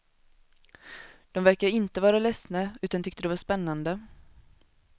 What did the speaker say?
De verkade inte vara ledsna, utan tyckte det var spännande.